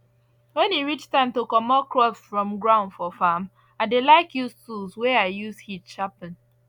when e reach time to comot crops from ground for farm i dey like use tools wey i use heat sharpen